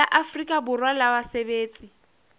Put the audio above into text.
la afrika borwa la basebetsi